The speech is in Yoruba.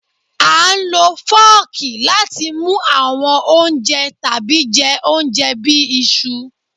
À ń lọ fọ́ọ̀kì láti mu awọn ounjẹ tabi jẹ ounjẹ bi iṣu.